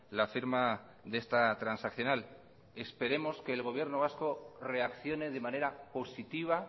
la firma de esta transaccional esperemos que el gobierno vasco reaccione de manera positiva